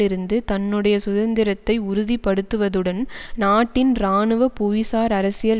இருந்து தன்னுடைய சுதந்திரத்தை உறுதிபடுத்துவதுடன் நாட்டின் இராணுவ புவிசார்அரசியல்